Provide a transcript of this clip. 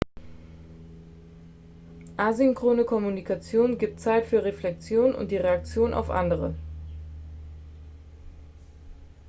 asynchrone kommunikation gibt zeit für reflexion und die reaktion auf andere